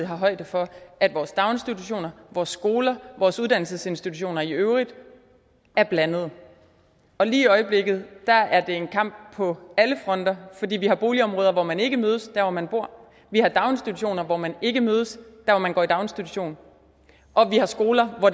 højde for at vores daginstitutioner vores skoler vores uddannelsesinstitutioner i øvrigt er blandede og lige i øjeblikket er det en kamp på alle fronter fordi vi har boligområder hvor man ikke mødes der hvor man bor vi har daginstitutioner hvor man ikke mødes der hvor man går i daginstitution og vi har skoler hvor